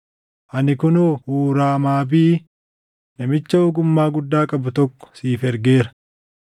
“Ani kunoo Huuraamabii namicha ogummaa guddaa qabu tokko siif ergeera;